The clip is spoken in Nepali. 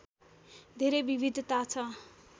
धेरै विविधता छ